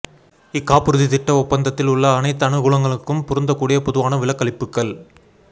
இக்காப்புறுதித் திட்ட ஒப்பந்தத்தில் உள்ள அனைத்து அனுகூலங்களுக்கும் பொருந்தக்கூடிய பொதுவான விலக்களிப்புகள்